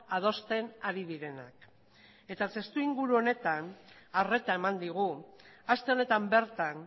adosten ari direnak testuinguru honetan arreta eman digu aste honetan bertan